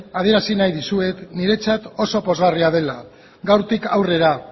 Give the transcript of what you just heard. adierazi nahi dizuet niretzat oso pozgarria dela gaurtik aurrera